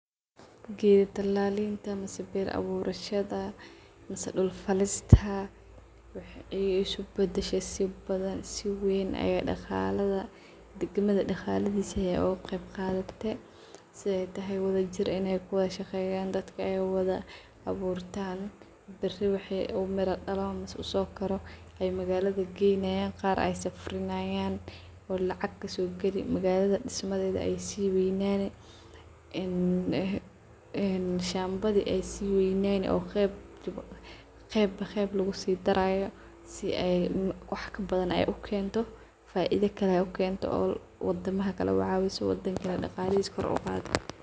Geed talaalinta mise beer awurshadha mise dulka faalista waxay ay iskubadishe si badhan si weyn ay dagaaladha digmadha dagalihiisa ay ukagebgadhate sidhay tahay wadha jiir inay kuwadhashageyan daadka ay wadha abuurtan baari waxay umira dalaan mise usokaaro ay magaladha geynayan qaar aay safarinayan oo lacag kaso gali magaladha dismadhedha ay si waynani een shamba dha ay sii wayani oo qeeb ba qeeb lagusidarayo si ay wax kabadhan ay ukeento faaidha kale ukeento oo wadamaha kalee ay ucawiso oo wadanka dagalihisa koor uqaado.